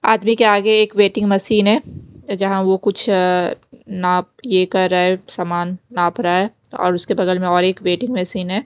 आदमी के आगे एक वेटिंग मशीन है जहां वो कुछ नाप ये कर रहा है सामान नाप रहा है और उसके बगल में और एक वेटिंग मशीन है।